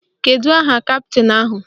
Kedu aha kaptịn ahụ?